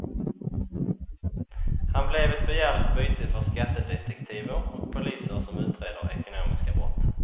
Han blev ett begärligt byte för skattedetektiver och poliser som utreder ekonomiska brott.